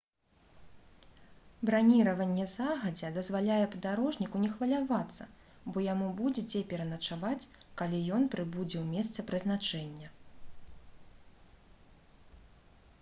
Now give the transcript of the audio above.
браніраванне загадзя дазваляе падарожніку не хвалявацца бо яму будзе дзе пераначаваць калі ён прыбудзе ў месца прызначэння